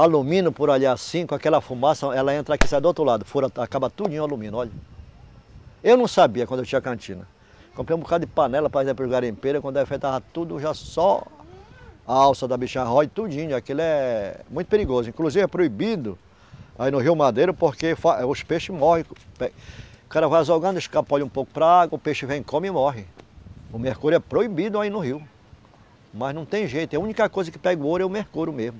alumínio por ali assim, com aquela fumaça ela entra aqui e sai do outro lado fura, acaba tudinho o alumínio, olha eu não sabia quando eu tinha cantina comprei um bocado de panela para garimpeiro e quando tudo já só a alça da bicha rói tudinho aquilo é muito perigoso, inclusive é proibido aí no rio Madeira porque os peixes morrem o cara vai azougando, escapole um pouco para a água o peixe vem e come e morre o mercúrio é proibido aí no rio mas não tem jeito, a única coisa que pega ouro é o mercúrio mesmo